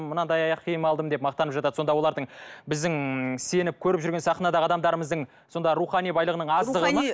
мынандай аяқ киім алдым деп мақтанып жатады сонда олардың біздің сеніп көріп жүрген сахнадағы адамдарымыздың сонда рухани байлығының аздығы ма